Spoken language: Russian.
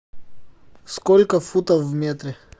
сколько футов в метре